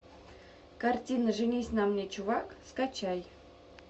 картина женись на мне чувак скачай